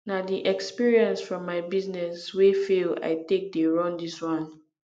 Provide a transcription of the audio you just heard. na di experience from my business wey fail i take dey run dis one